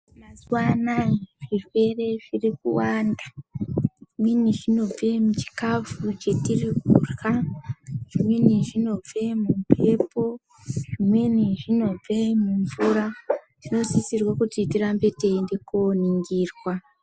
Mazuva anawa zvirwere zvazowanda zvimweni zvinobva muchikafu chatiri kurya zvimweni zvinobva mumbepo zvimweni zvinobva mumvura tinosisirwa kuti tirambe teienda kundoningirwa.